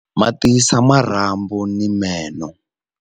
Ma tiyisa marhambu ni meno.